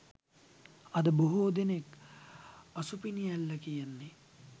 අද බොහෝ දෙනක් අසුපිනි ඇල්ල කියන්නේ